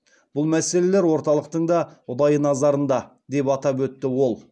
бұл мәселелер орталықтың да ұдайы назарында деп атап өтті ол